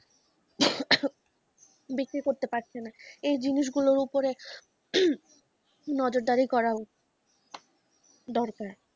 বিক্রি করতে পারছে না এই জিনিসগুলো উপরে নজরদারি করা দরকার ।